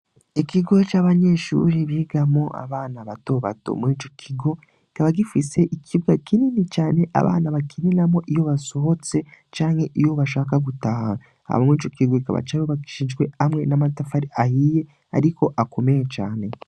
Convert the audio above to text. Ikigo c'abanyeshuri biga mo abana batobato mwico kigo kaba gifise ikibwa kinini cane abana bakininamo iyo basohotse canke iyo bashaka gutaha aba mwico kigo kaba cabo bakishijwe hamwe n'amatafari ahiye, ariko akomeye cane.